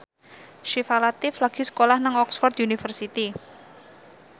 Syifa Latief lagi sekolah nang Oxford university